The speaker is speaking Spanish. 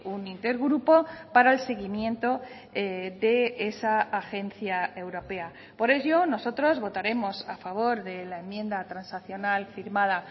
un inter grupo para el seguimiento de esa agencia europea por ello nosotros votaremos a favor de la enmienda transaccional firmada